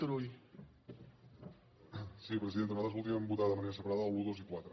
sí presidenta nosaltres voldríem votar de manera separada l’un dos i quatre